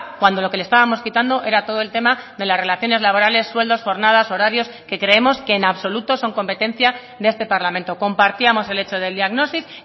cuando lo que le estábamos quitando era todo el tema de las relaciones laborales sueldos jornadas horarios que creemos que en absoluto son competencia de este parlamento compartíamos el hecho del diagnosis